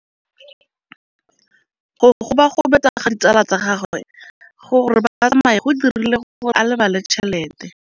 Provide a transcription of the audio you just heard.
Go gobagobetsa ga ditsala tsa gagwe, gore ba tsamaye go dirile gore a lebale tšhelete.